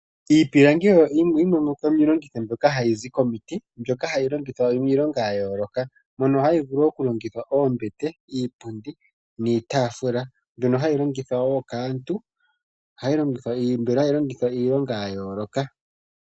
Iipilangi oyo yimwe yomiilongitho mbyoka hayi zi komiti, mbyoka hayi longithwa iilonga ya yooloka. Mono hayi vulu okulongithwa oombete, iipundi, niitaafula mbono hayi longithwa woo kaantu, mbono hayi longithwa iilonga ya yooloka.